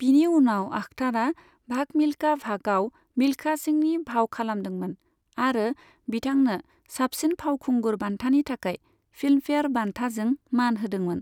बिनि उनाव आख्तारा 'भाग मिल्खा भाग'आव मिल्खा सिंहनि फाव खालामदोंमोन आरो बिथांनो साबसिन फावखुंगुर बान्थानि थाखाय फिल्मफेयार बान्थाजों मान होदोंमोन।